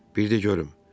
Bir də görüm.